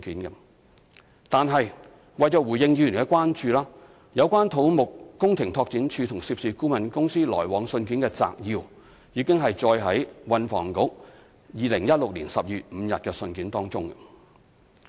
然而，為回應議員的關注，有關土木工程拓展署與涉事顧問公司往來信件的摘要已載於運輸及房屋局2016年12月5日的信件內。